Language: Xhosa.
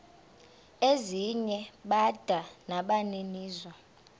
ezinye bada nabaninizo